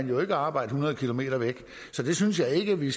noget at arbejde hundrede kilometer væk så jeg synes ikke at vi